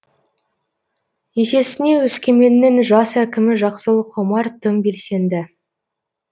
есесіне өскеменнің жас әкімі жақсылық омар тым белсенді